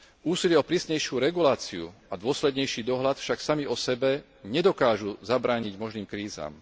Úsilie o prísnejšiu reguláciu a dôslednejší dohľad však sami osebe nedokážu zabrániť možným krízam.